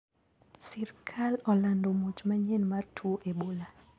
Sirkal olando muoch manyien mar tuo ebola.